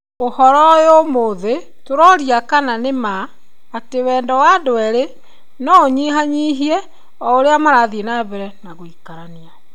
Ũhoro ũyũ ũmũthĩ tũroria kana nĩ ma atĩ wendo wa andũ erĩ no ũnyihanyihie o ũrĩa marathiĩ na mbere gũikarania?